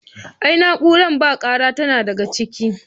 Ai na'uran bakara tana daga ciki.